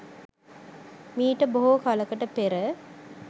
මීට බොහෝ කලකට පෙර